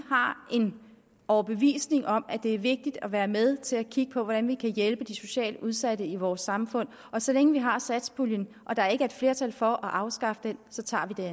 har en overbevisning om at det er vigtigt at være med til at kigge på hvordan vi kan hjælpe de socialt udsatte i vores samfund og så længe vi har satspuljen og der ikke er et flertal for at afskaffe den så tager